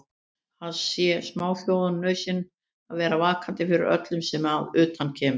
Það sé smáþjóðum nauðsyn að vera vakandi fyrir öllu sem að utan kemur.